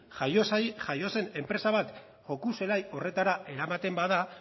jaio zen enpresa bat joko zelai horretara eramaten bada